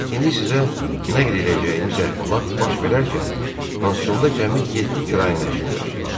İndi sizə nəql eləyəcəyimiz əhvalat baş verərkən pansionda cəmi yeddi kirayənişin yaşayırdı.